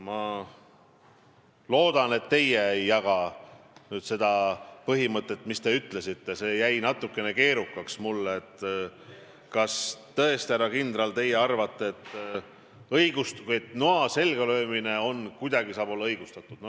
Ma loodan, et teie ei jaga seda põhimõtet, see oli mulle natukene liiga keerukas, et kas tõesti, härra kindral, teie arvate, et noa selga löömine saab kuidagi olla õigustatud.